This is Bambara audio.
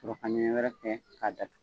Sɔrɔ ka ɲɛɲɛ yɛrɛ kɛ k'a da tugu.